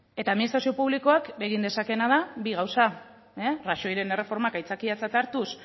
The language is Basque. eta administrazio publikoak egin dezakeena da bi gauza rajoyren erreformak aitzakiatzat hartuz